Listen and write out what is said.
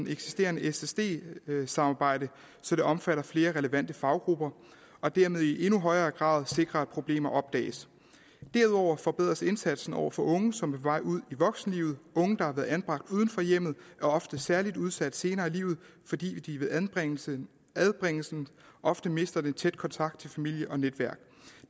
eksisterende ssd samarbejde så det omfatter flere relevante faggrupper og dermed i endnu højere grad sikrer at problemer opdages derudover forbedres indsatsen over for unge som er på vej ud i voksenlivet unge der har været anbragt uden for hjemmet er ofte særlig udsat senere i livet fordi de ved anbringelsen ofte mister den tætte kontakt til familie og netværk